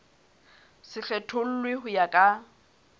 se kgethollwe ho ya ka